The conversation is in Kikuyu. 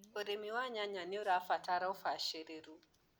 ũrĩmi wa nyanya nĩũrabatara ũbacĩrĩru.